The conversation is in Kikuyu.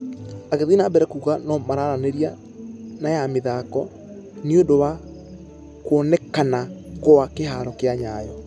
Agĩthie na mbere kuuga nũ maranĩria na ....ya mĩthako nĩũndũ wa kuonekanakwakĩharo gĩa nyayo.